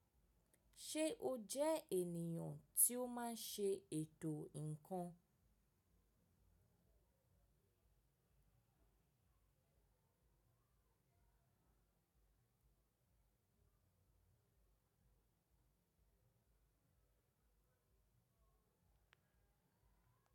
Ṣe o jẹ eniyan ti o maa n ṣe eto nkan?